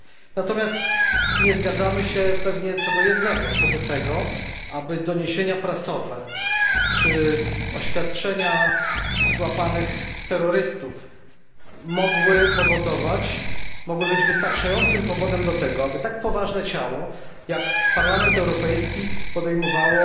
Natomiast nie zgadzamy się pewnie co do jednego, czyli co do tego, aby doniesienia prasowe czy oświadczenia złapanych terrorystów mogły być wystarczającym powodem do tego, aby tak poważne ciało jak Parlament Europejski podejmowało